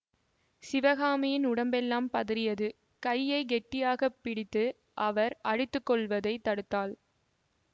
சிவகாமியின் உடம்பெல்லாம் பதறியது கையை கெட்டியாக பிடித்து அவர் அடித்து கொள்வதைத் தடுத்தாள்